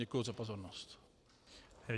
Děkuji za pozornost.